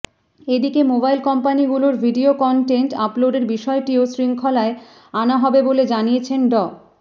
এদিকে মোবাইল কোম্পানিগুলোর video content আপলোডের বিষয়টিও শৃঙ্খলায় আনা হবে বলে জানিয়েছেন ড